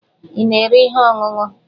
Ị na-ere ihe ọṅụṅụ?